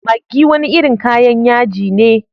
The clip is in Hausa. Maggi wani irin kayan yaji ne.